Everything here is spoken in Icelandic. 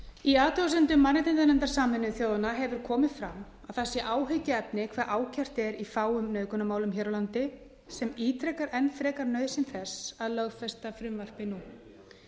í athugasemdum mannréttindanefndar sameinuðu þjóðanna hefur komið fram að það sé áhyggjuefni í hve fáum nauðgunarmálum sé ákært hér á landi sem ítrekar enn frekar nauðsyn þess að lögfesta frumvarpið nú